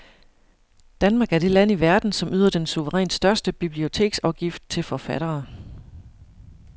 Danmark er det land i verden, som yder den suverænt største biblioteksafgift til forfattere.